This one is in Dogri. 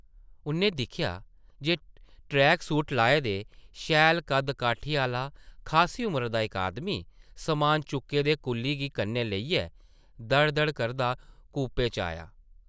उʼन्नै दिक्खेआ जे ट्रैक सूट लाए दे, शैल कद्द-काठी आह्ला खासी उमरी दा इक आदमी , समान चुक्के दे कुल्ली गी कन्नै लेइयै दड़-दड़ करदा कूपे च आया ।